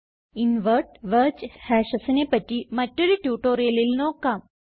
invert wedge hashesനെ പറ്റി മറ്റൊരു ട്യൂട്ടോറിയലിൽ നോക്കാം